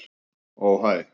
Ó hæ.